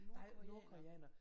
Nej nordkoreanere